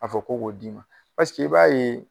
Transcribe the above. A fɔ ko k'o d'i ma i b'a ye